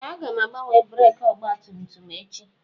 Ee! Aga m agbanwe breekị ọgbatumtum echi.